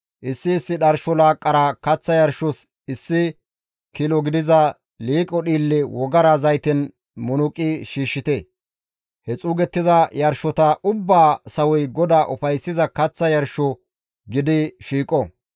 issi issi dharsho laaqqara kaththa yarshos issi kilo gidiza liiqo dhiille wogara zayten munuqi shiishshite; he xuugettiza yarshota ubbaa sawoy GODAA ufayssiza kaththa yarsho gidi shiiqo.